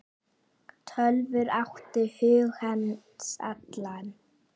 Tölvur áttu hug hans allan.